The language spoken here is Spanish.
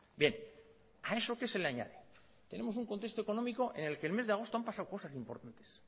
bien a eso qué se le añade tenemos un contexto económico en el que en el mes de agosto han pasado cosas importantes